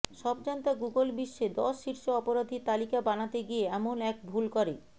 সবজান্তা Google বিশ্বে দশ শীর্ষ অপরাধীর তালিকা বানাতে গিয়ে এমন এক ভূল করে